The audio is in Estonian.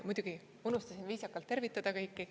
Muidugi unustasin viisakalt tervitada kõiki.